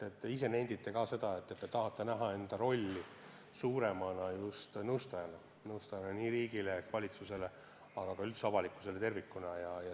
Te nendite, et te tahate näha enda suuremat rolli just nõustajana – nõustajana nii riigile ehk valitsusele kui ka üldse avalikkusele tervikuna.